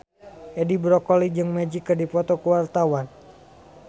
Edi Brokoli jeung Magic keur dipoto ku wartawan